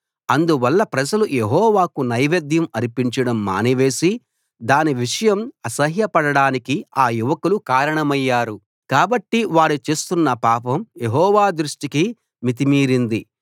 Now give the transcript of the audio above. అందువల్ల ప్రజలు యెహోవాకు నైవేద్యం అర్పించడం మానివేసి దాని విషయం అసహ్యపడడానికి ఆ యువకులు కారణమయ్యారు కాబట్టి వారు చేస్తున్న పాపం యెహోవా దృష్టికి మితి మీరింది